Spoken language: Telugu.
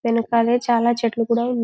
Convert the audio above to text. వెనకాలే చాలా చెట్లు కూడా ఉన్--